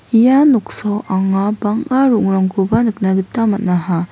ia noksao anga bang·a ro·ongrangkoba nikna gita man·aha.